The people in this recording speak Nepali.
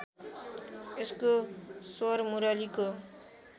यसको स्वर मुरलीको